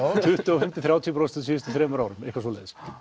tuttugu og fimm til þrjátíu prósent á síðustu þremur árum eitthvað svoleiðis